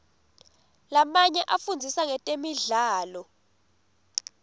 lamanye afundzisa ngetemidlalo